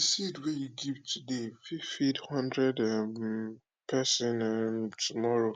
de seed wey you give today fit feed hundred um person um tomorrow